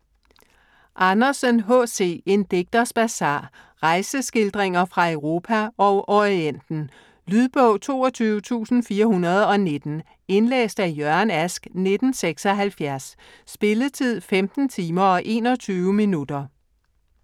Andersen, H. C.: En digters bazar Rejseskildringer fra Europa og Orienten. Lydbog 22419 Indlæst af Jørgen Ask, 1976. Spilletid: 15 timer, 21 minutter.